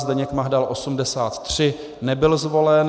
Zdeněk Mahdal 83, nebyl zvolen.